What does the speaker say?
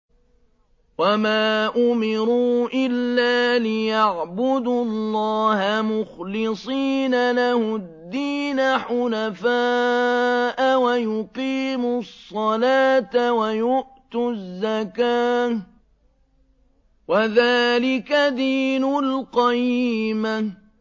وَمَا أُمِرُوا إِلَّا لِيَعْبُدُوا اللَّهَ مُخْلِصِينَ لَهُ الدِّينَ حُنَفَاءَ وَيُقِيمُوا الصَّلَاةَ وَيُؤْتُوا الزَّكَاةَ ۚ وَذَٰلِكَ دِينُ الْقَيِّمَةِ